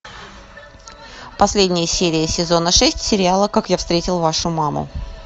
последняя серия сезона шесть сериала как я встретил вашу маму